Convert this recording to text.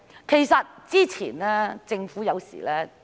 其實，之前政府有時......